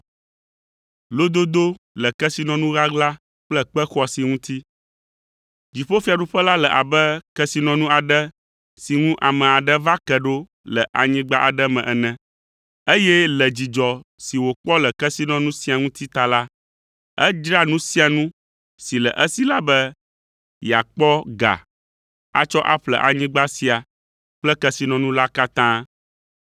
“Dziƒofiaɖuƒe la le abe kesinɔnu aɖe si ŋu ame aɖe va ke ɖo le anyigba aɖe me ene. Eye le dzidzɔ si wòkpɔ le kesinɔnu sia ŋuti ta la, edzra nu sia nu si le esi la be yeakpɔ ga atsɔ aƒle anyigba sia kple kesinɔnu la katã.